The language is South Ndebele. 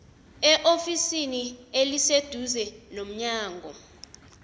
eofisini eliseduze lomnyango